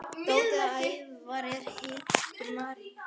Dóttir Ævars er Hildur Marín.